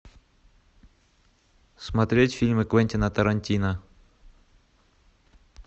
смотреть фильмы квентина тарантино